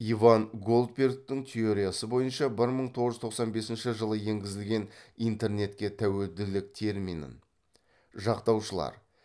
иван голдбергтің теориясы бойынша бір мың тоғыз жүз тоқсан бесінші жылы енгізген интернетке тәуелділік терминін жақтаушылар